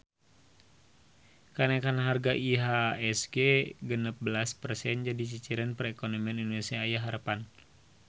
Kanaekan harga IHSG genep belas persen jadi ciciren perekonomian Indonesia aya harepan